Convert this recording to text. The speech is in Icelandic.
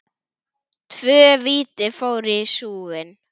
Tvö víti fóru í súginn.